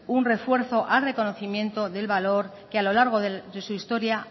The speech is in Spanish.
un refuerzo al reconcomiendo del valor que a lo largo de su historia